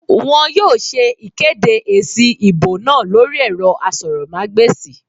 Wọn yóò ṣe ìkéde èsì ìbò náà lórí ẹ̀rọ asọ̀rọ̀mágbèsì